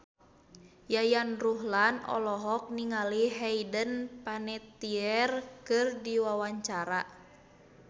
Yayan Ruhlan olohok ningali Hayden Panettiere keur diwawancara